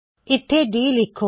ਇੱਥੇ ਡੀ ਲਿੱਖੋ